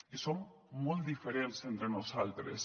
i som molt diferents entre nosaltres